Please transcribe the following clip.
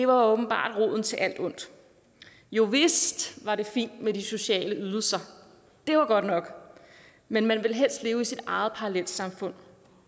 åbenbart roden til alt ondt jovist var det fint med de sociale ydelser det var godt nok men man ville helst leve i sit eget parallelsamfund